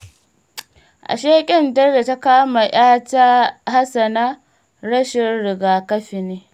Ashe ƙyandar da ta kama Hassana 'yata rashin rigakafi ne?